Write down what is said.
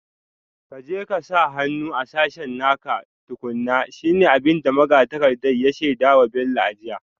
Ka je ka sa hannu a sashen naka tukuna, shi ne abin da magatakardar ya shaida wa Bello a jiya